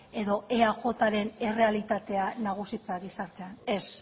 edo eajren errealitatea nagusitzea gizartean ez